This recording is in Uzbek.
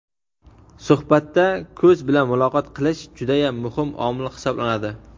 Suhbatda "ko‘z bilan muloqot qilish" judayam muhim omil hisoblanadi.